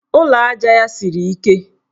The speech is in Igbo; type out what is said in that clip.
Ụlọaja ya siri ike.